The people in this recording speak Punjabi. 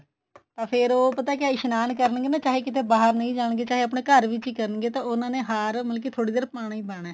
ਤਾਂ ਫੇਰ ਉਹ ਪਤਾ ਕਿਆ ਇਸ਼ਨਾਨ ਕਰਨਗੇ ਨਾ ਚਾਹੇ ਕੀਤੇ ਬਾਹਰ ਨਹੀਂ ਜਾਣਗੇ ਚਾਹੇ ਆਪਣੇ ਘਰ ਵਿੱਚ ਹੀ ਕਰਨਗੇ ਤਾਂ ਉਨ੍ਹਾਂ ਨੇ ਹਾਰ ਮਤਲਬ ਕੀ ਥੋੜੀ ਦੇਰ ਪਾਣਾ ਹੀ ਪਾਣਾ